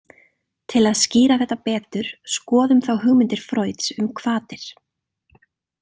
Til að skýra þetta betur, skoðum þá hugmyndir Freuds um hvatir.